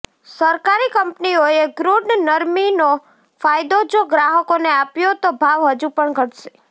સરકારી કંપનીઓએ ક્રૂડ નરમીનો ફાયદો જો ગ્રાહકોને આપ્યો તો ભાવ હજુ પણ ઘટશે